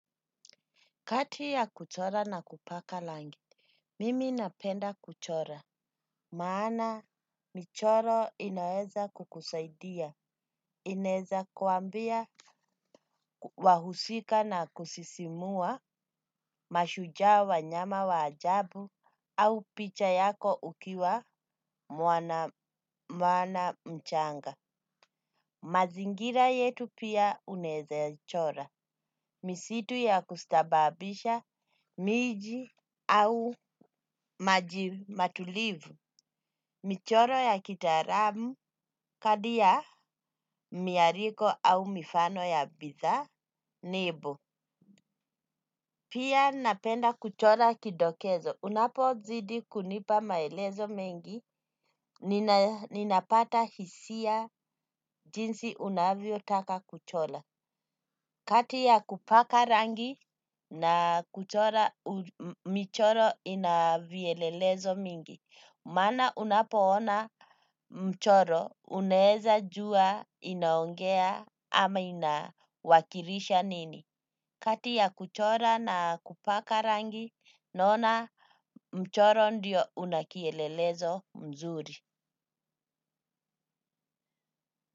Kati ya kuchora na kupaka rangi, mimi napenda kuchora. Maana michoro inaeza kukusaidia. Inaweza kuambia wahusika na kusisimua mashuja wanyama wa ajabu au picha yako ukiwa mwana mchanga. Mazingira yetu pia unaweza chora. Misitu ya kustababisha, miji au matulivu, michoro ya kitaalamu, kadia, miariko au mifano ya bitha, nebo. Pia napenda kuchora kidokezo. Unapozidi kunipa maelezo mengi, ninapata hisia jinsi unavyotaka kuchora. Kati ya kupaka rangi na kuchora michoro inavielelezo mingi. Maana unapoona mchoro unaweza jua inaongea ama inawakilisha nini. Kati ya kuchora na kupaka rangi naona mchoro ndio unakielelezo mzuri.